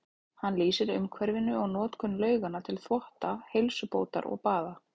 Hann lýsir umhverfinu og notkun lauganna til þvotta, heilsubótar og baða.